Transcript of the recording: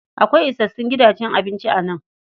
Akwai isassun gidajen abinci a nan.